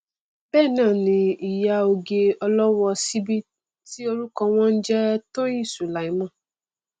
bẹẹnáàni ìyá oge ọlọwọ ọ síbí ti orúkọ wọn n jẹ tóyìn sùlàìmán